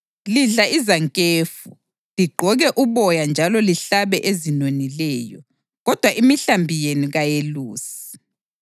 Lidla izankefu, ligqoke uboya njalo lihlabe ezinonileyo, kodwa imihlambi yenu kaliyelusi.